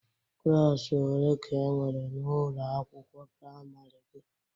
Klaasị ole ka enwere na ụlọ akwụkwọ priamarị gị?